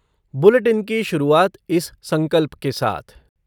bulletin की शुरुआत इस संकल्प के साथ ...